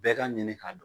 Bɛɛ ka ɲini k'a dɔn